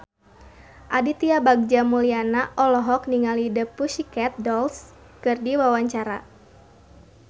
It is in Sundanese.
Aditya Bagja Mulyana olohok ningali The Pussycat Dolls keur diwawancara